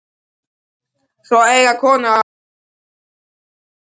Svo eiga konur athvarf í glasabörnum.